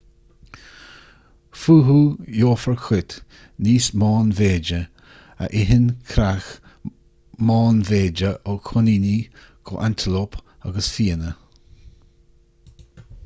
fúthu gheofar cait níos meánmhéide a itheann creach meánmhéide ó choiníní go hantalóip agus fianna